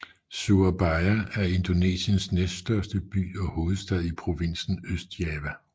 Surabaya er Indonesiens næststørste by og hovedstad i provinsen Østjava